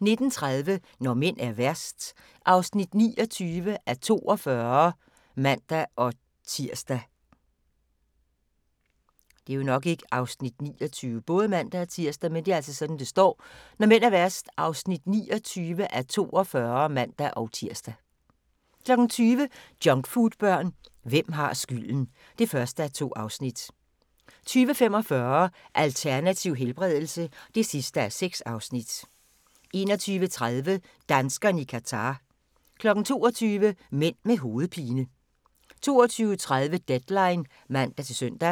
19:30: Når mænd er værst (29:42)(man-tir) 20:00: Junkfoodbørn – hvem har skylden? (1:2) 20:45: Alternativ helbredelse (6:6) 21:30: Danskerne i Qatar 22:00: Mænd med hovedpine 22:30: Deadline (man-søn)